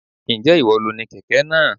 Ǹjẹ́ ìwọ lo ni kẹ̀kẹ́ náà?